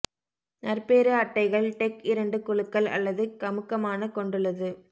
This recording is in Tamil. நற்பேறு அட்டைகள் டெக் இரண்டு குழுக்கள் அல்லது கமுக்கமான கொண்டுள்ளது